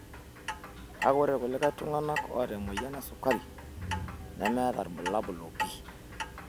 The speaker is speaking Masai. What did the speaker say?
Kake ore kulie tung'ana oota emoyian esukari nemmeta ilbulabul opi.